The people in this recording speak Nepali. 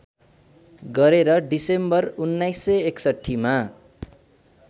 गरेर डिसेम्बर १९६१ मा